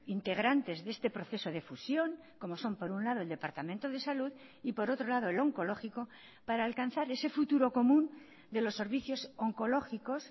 integrantes de este proceso de fusión como son por un lado el departamento de salud y por otro lado el oncológico para alcanzar ese futuro común de los servicios oncológicos